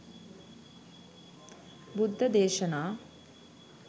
බුද්ධ දේශනා